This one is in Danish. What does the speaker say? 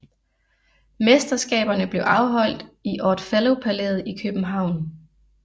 Mesterskaberne blev afholdt i Odd Fellow Palæet i København